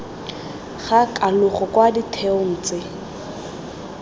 ga kalogo kwa ditheong tse